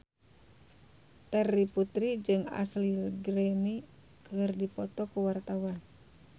Terry Putri jeung Ashley Greene keur dipoto ku wartawan